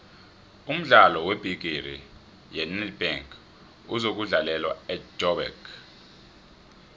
umdlalo webhigiri yenedbank uzokudlalelwa ejoburg